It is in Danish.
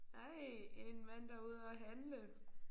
Ej en mand der er ude at handle